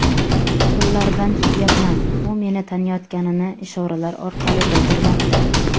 Qo‘llaridan tutyapman, u meni taniyotganini ishoralar orqali bildirmoqda.